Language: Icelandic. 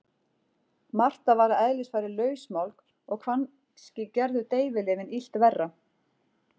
Marta var að eðlisfari lausmálg og kannski gerðu deyfilyfin illt verra.